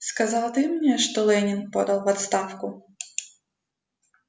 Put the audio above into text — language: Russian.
сказал ты мне что лэннинг подал в отставку